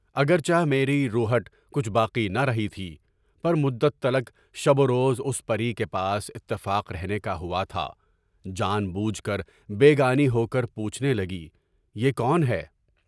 اگرچہ میری روہٹ کچھ باقی نہ رہی تھی، پر مدت تلاک شب و روز اُس پری کے پاس اتفاق رہنے کا ہوا تھا، جان بوجھ کر بے گانی ہو کر یوں چھپنے لگی، یہ کون ہے؟